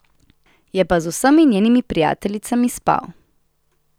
Je pa z vsemi njenimi prijateljicami spal.